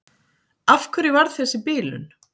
Af hverju varð þessi bilun?